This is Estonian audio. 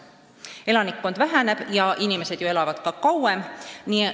Elanikkond väheneb ja inimesed elavad kauem.